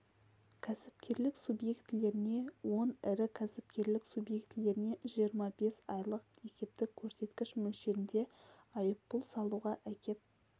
кәсіпкерлік субъектілеріне он ірі кәсіпкерлік субъектілеріне жиырма бес айлық есептік көрсеткіш мөлшерінде айыппұл салуға әкеп